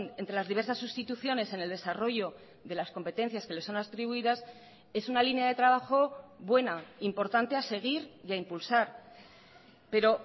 entre las diversas sustituciones en el desarrollo de las competencias que le son atribuidas es una línea de trabajo buena importante a seguir y a impulsar pero